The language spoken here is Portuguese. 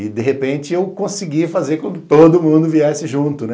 E, de repente, eu consegui fazer com que todo mundo viesse junto, né?